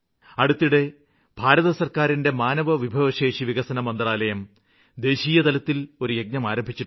അടുത്തിടെ ഭാരത സര്ക്കാരിന്റെ മാനവ വിഭവശേഷിവികസന മന്ത്രാലയം ദേശീയതലത്തില് ഒരു യജ്ഞം ആരംഭിച്ചിട്ടുണ്ട്